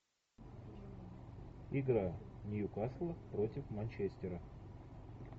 игра ньюкасла против манчестера